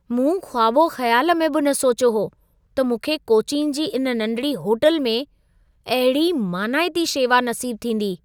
मूं ख़्वाबो ख़्याल में बि न सोचियो हो, त मूंखे कोचीन जी इन नंढिड़ी होटल में अहिड़ी मानाइती शेवा नसीबु थींदी।